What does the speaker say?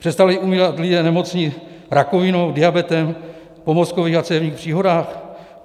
Přestali umírat lidé nemocní rakovinou, diabetem, po mozkových a cévních příhodách?